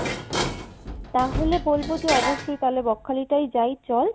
তাহলে বলবো যে অবশ্যই তাহলে বকখালিটাই যাই চল